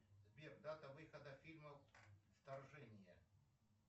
сбер дата выхода фильма вторжение